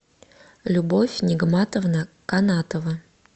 любовь нигматовна канатова